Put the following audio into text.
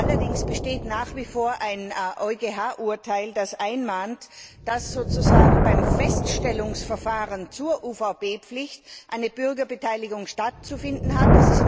Allerdings besteht nach wie vor ein EuGH Urteil, das einmahnt, dass sozusagen beim Feststellungsverfahren zur UVP Pflicht eine Bürgerbeteiligung stattzufinden hat.